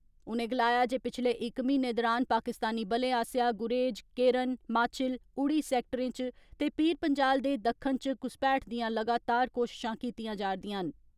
उनें गलाया जे पिच्छले इक महीने दौरान पाकिस्तानी बलें आस्सेया गुरेज, केरन, माछिल, उड़ी सैक्टरें च ते पीरपंजाल दे दक्षिण च घुसपैठ दिया लगातार कोशिशां कीतिया जा रदियां न।